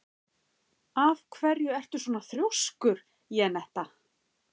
Af hverju ertu svona þrjóskur, Jenetta?